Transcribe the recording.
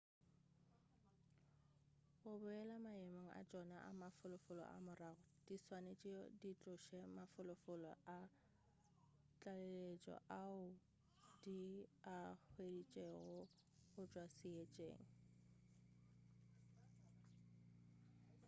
go boele maemong a tšona a mafolofolo a morago di swanetše di tloše mafolofolo a tlaleletšo ao di a hweditšego go tšwa seetšeng